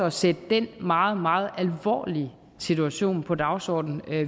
at sætte den meget meget alvorlige situation på dagsordenen